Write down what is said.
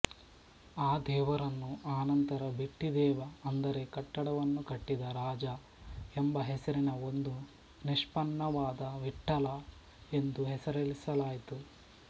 ಆ ದೇವರನ್ನು ಅನಂತರ ಬಿಟ್ಟೀದೇವ ಅಂದರೆ ಕಟ್ಟಡವನ್ನು ಕಟ್ಟಿದ ರಾಜ ಎಂಬ ಹೆಸರಿನ ಒಂದು ನಿಷ್ಪನ್ನವಾದ ವಿಠ್ಠಲ ಎಂದು ಹೆಸರಿಸಲಾಯಿತು